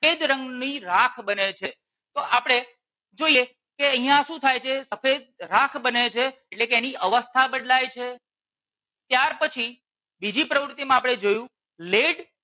સફેદ રંગ ની રાખ બને છે તો આપણે જોઈએ કે અહિયાં શું થાય છે સફેદ રાખ બને છે એની અવસ્થા બદલાય છે ત્યાર પછી બીજી પ્રવૃતિ માં આપણે જોયું lead